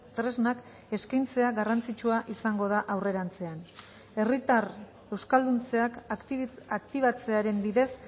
tresnak eskaintzea garrantzitsua izango da aurrerantzean herritar euskalduntzeak aktibatzearen bidez